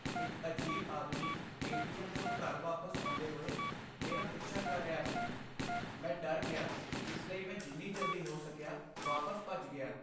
ਇੱਕ ਅਜੀਬ ਆਦਮੀ ਏ.ਟੀ.ਐੱਮ. ਤੋਂ ਘਰ ਵਾਪਸ ਆਉਂਦੇ ਹੋਏ ਮੇਰਾ ਪਿੱਛਾ ਕਰ ਰਿਹਾ ਸੀ। ਮੈਂ ਡਰ ਗਿਆ ਇਸ ਲਈ ਮੈਂ ਜਿੰਨੀ ਜਲਦੀ ਹੋ ਸਕਿਆ ਵਾਪਸ ਭੱਜ ਗਿਆ।